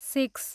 six